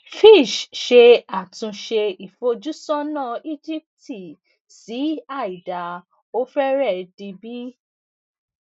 fitch ṣe àtúnṣe ìfojúsónà íjíbítì sí àìdáa ó fẹre di bi